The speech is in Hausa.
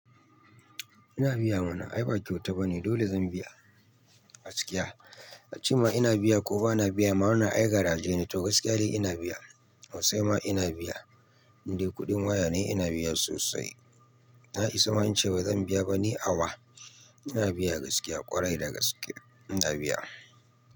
Ina biya ma na ai ba kyauta bane. Dole zan biya gaskiya. A ce ma ina biya ko ba na biya, ma ai wannan garaaje ne to gaskiya dai ina biya. So sai ma ina biya. In dai kuɗin waya ne ina biya sosai. Na isa ma in ce ba zan biya bane awa. Ina biya gaskiya ƙwarai da gaskiya ina biya.